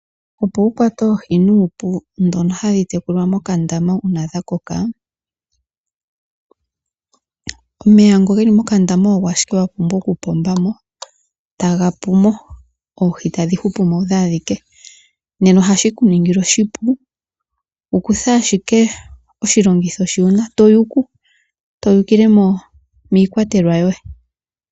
Opo wu kwate oohi nuupu ndhono hadhi tekulwa mokandama uuna dha koka, omeya nga ge li mokandama ogo ashike wa pumbwa oku pomba mo ta ga pumo oohi tadhi hupu mo odho adhike. Ohashi ku ningile oshipu to yuku, to yukile miikwatelwa yoye.